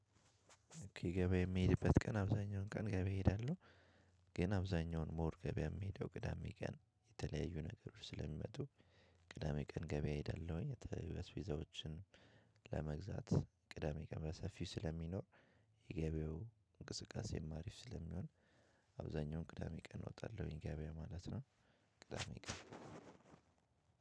ገበያ እምሄድበት ቀን አብዛኛውን ቀን ገበያ እምሄደው። ግን አብዛኛውን እኔ ገበያ እምሄደው ቅዳሜ ቀን የተለያዩ ነገሮች ስለሚመጡ። ቅዳሜ ቀን ገበያ እሄዳለሁኝ አስቤዛዎችን። ለመግዛት ቅዳሜ ቀን በሰፊው ስለሚኖር የገበያው እንቅስቃሴም አሪፍ ስለሚሆን። አብዛኛውን ቅዳሜ ቀን እወጣለሁኝ ገበያ ማለት ነው። ቅዳሜ ቀን